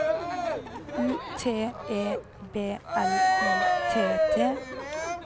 U T E B L I T T